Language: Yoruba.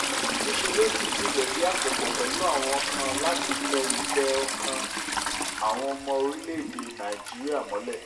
níṣẹ́ ló dìídì lẹ̀dí àpò pọ̀ pẹ̀lú àwọn kan láti tẹ ìfẹ́-ọkàn àwọn ọmọ orílẹ̀‐èdè nàíjíríà mọ́lẹ̀